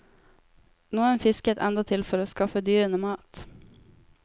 Noen fisket endatil for å skaffe dyrene mat.